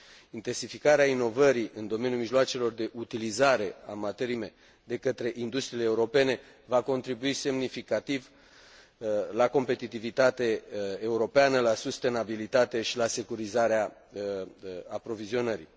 Intensificarea inovării în domeniul mijloacelor de utilizare a materiilor prime de către industriile europene va contribui semnificativ la competitivitate europeană, la sustenabilitate și la securizarea aprovizionării.